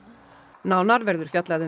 nánar verður fjallað um